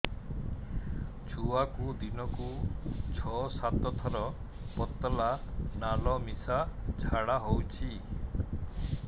ଛୁଆକୁ ଦିନକୁ ଛଅ ସାତ ଥର ପତଳା ନାଳ ମିଶା ଝାଡ଼ା ହଉଚି